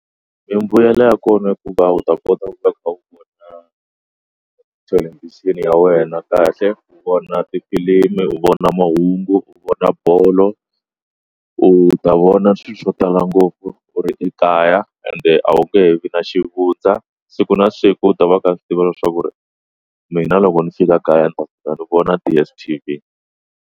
Mbuyelo ya kona hikuva u ta kota ku ta ka u nga ya wena kahle u vona tifilimi u vona mahungu u vona bolo u ta vona swilo swo tala ngopfu u ri ekaya ende a wu nge vi na xivundza siku na siku u ta va ka swi tiva leswaku mina loko ni fika kaya ni ta ni vona DSTV.